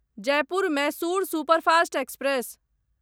Jaipur Mysore superfast express